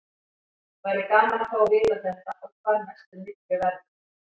Væri gaman að fá að vita þetta og hvar mestur myrkvi verður.